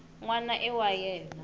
n wana i wa yena